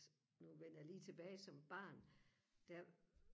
nu vender jeg lige tilbage som barn der